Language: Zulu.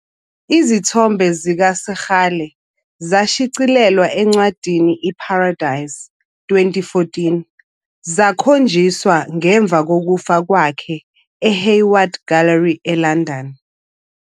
Izithombe zikaSekgala zashicilelwa encwadini, "iParadise", 2014, zakhonjiswa ngemuva kokufa kwakhe eHayward Gallery eLondon.